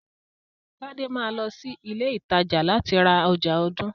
Tade máa lọ sí ilé ìtajà láti ra ọjà ọdún.